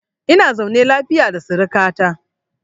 Ina zaune lafiya da suruka ta.